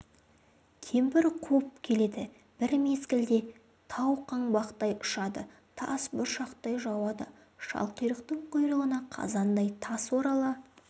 кемпір қуып келеді бір мезгілде тау қаңбақтай ұшады тас бұршақтай жауады шалқұйрықтың құйрығына қазандай тас орала